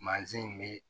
Mansin in bɛ